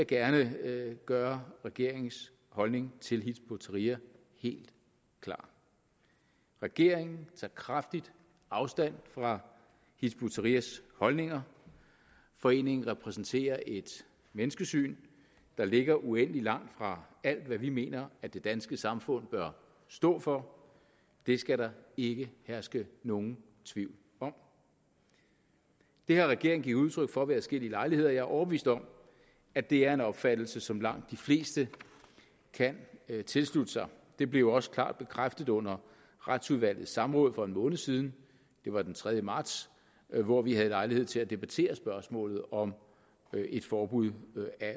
gerne gøre regeringens holdning til hizb ut tahrir helt klar regeringen tager kraftigt afstand fra hizb ut tahrirs holdninger foreningen repræsenterer et menneskesyn der ligger uendelig langt fra alt hvad vi mener at det danske samfund bør stå for det skal der ikke herske nogen tvivl om det har regeringen givet udtryk for ved adskillige lejligheder jeg er overbevist om at det er en opfattelse som langt de fleste kan tilslutte sig det blev også klart bekræftet under retsudvalgets samråd for en måned siden det var den tredje marts hvor vi havde lejlighed til at debattere spørgsmålet om et forbud